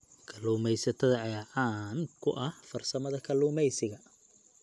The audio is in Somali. Kalluumeysatada ayaa caan ku ah farsamada kalluumeysiga.